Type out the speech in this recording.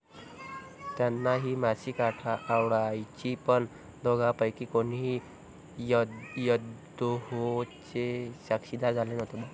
त्यांना ही मासिकं आवडायची पण दोघांपैकी कोणीही यहोवाचे साक्षीदार झाले नव्हते.